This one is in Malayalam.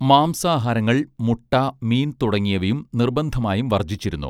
മാംസാഹാരങ്ങൾ മുട്ട മീൻ തുടങ്ങിയവും നിർബന്ധമായും വർജ്ജിച്ചിരുന്നു